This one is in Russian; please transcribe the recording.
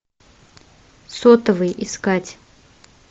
сотовый искать